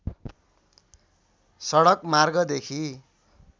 सडक मार्गदेखि